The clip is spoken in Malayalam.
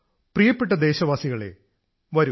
പ്രിയപ്പെട്ട ദേശവാസികളേ വരൂ